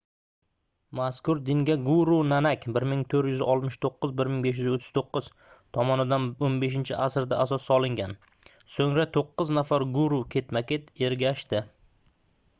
mazkur dinga guru nanak 1469–1539 tomonidan 15-asrda asos solingan. so'ngra to'qqiz nafar guru ketma-ket ergashdi